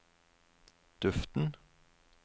duften